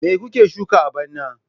Me kuke shuka a bana?